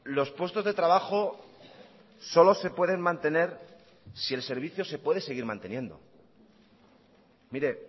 los puestos de trabajo solo se pueden mantener si el servicio se puede seguir manteniendo mire